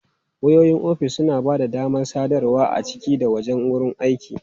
Wayoyin ofis suna ba da damar sadarwa a ciki da wajen wurin aiki.